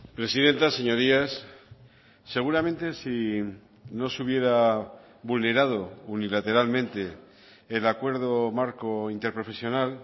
presidenta señorías seguramente si no se hubiera vulnerado unilateralmente el acuerdo marco interprofesional